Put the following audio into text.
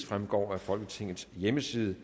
fremgår af folketingets hjemmeside